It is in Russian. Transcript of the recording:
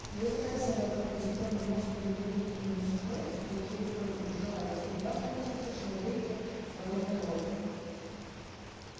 и если к этому добавить позитронный мозг и любые внутренние устройства какие вы только пожелаете у вас получится человеке подобный робот